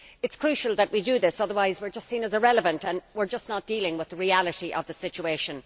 It is crucial that we do this, otherwise we are just seen as irrelevant and we are just not dealing with the reality of the situation.